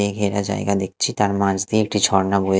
এ ঘেরা জায়গা দেখছি তার মাঝ দিয়ে একটি ঝর্না বয়ে--